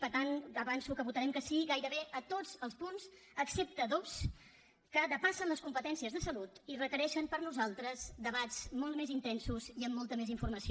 per tant avanço que votarem que sí gairebé a tots els punts excepte a dos que depassen les competències de salut i requereixen per nosaltres debats molt més intensos i amb molta més informació